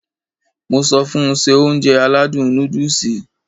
Mo sọ fun Se Ounjẹ aládùn nóódùsì